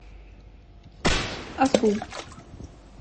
осу